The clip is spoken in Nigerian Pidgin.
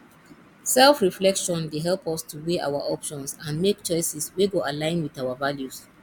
selfreflection dey help us to weigh our options and make choices wey go align with our values